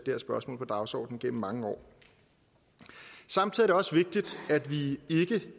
her spørgsmål på dagsordenen igennem mange år samtidig er det også vigtigt at vi